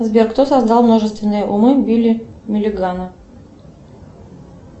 сбер кто создал множественные умы билли милигана